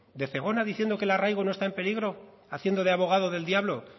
de zegona diciendo que el arraigo no está en peligro haciendo de abogado del diablo